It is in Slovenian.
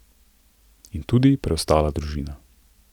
In tudi preostala družina.